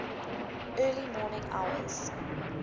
early morning hours